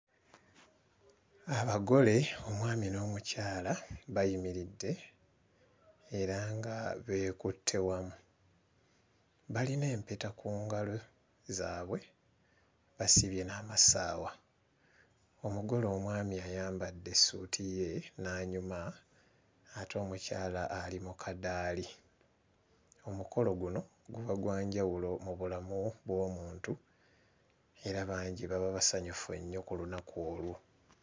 Abagole omwami n'omukyala bayimiridde era nga beekutte wamu, balina empeta ku ngalo zaabwe basibye n'amasaawa, omugole omwami ayambadde essuuti ye n'anyuma ate omukyala ali mu kaddaali. Omukolo guno guba gwa njawulo mu bulamu bw'omuntu era bangi baba basanyufu ennyo ku lunaku olwo.